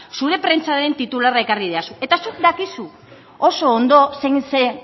zure prentsaren titularra ekarri didazu eta zuk dakizu oso ondo zein zen